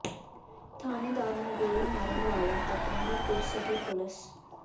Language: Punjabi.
ਥਾਣੇਦਾਰ ਨੂੰ ਗੋਲੀ ਮਾਰਨ ਵਾਲਿਆਂ ਤਕ ਨਹੀਂ ਪੁੱਜ ਸਕੀ ਪੁਲਿਸ